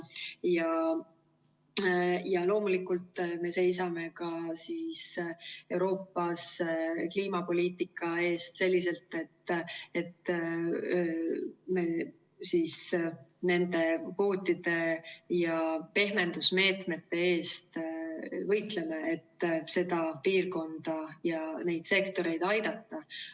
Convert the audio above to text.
Ja loomulikult me seisame ka Euroopas kliimapoliitika eest selliselt, et võitleme nende kvootide ja pehmendusmeetmete eest, et seda piirkonda ja neid sektoreid aidata.